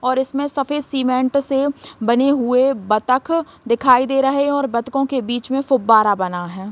और इसमे सफेद सीमेंट से बने हुए बत्तख दिखाई दे रहे है और बत्तखों के बीच में फुब्बारा बना है।